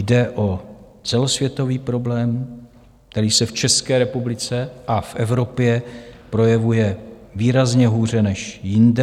Jde o celosvětový problém, který se v České republice a v Evropě projevuje výrazně hůře než jinde.